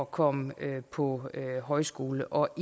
komme på højskole og